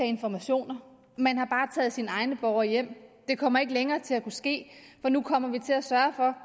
informationer man har bare taget sine egne borgere hjem det kommer ikke længere til at kunne ske for nu kommer vi til at sørge for